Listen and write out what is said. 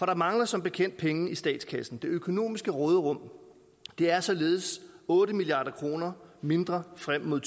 der mangler som bekendt penge i statskassen det økonomiske råderum er således otte milliard kroner mindre frem mod